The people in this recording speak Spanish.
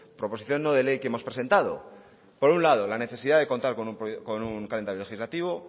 proposición no de ley que hemos presentado por un lado la necesidad de contar con un calendario legislativo